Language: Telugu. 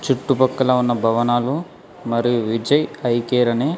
చుట్టుపక్కల ఉన్న భవనాలు మరియు విజయ్ ఐ కేర్ అని--